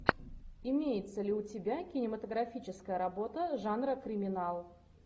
имеется ли у тебя кинематографическая работа жанра криминал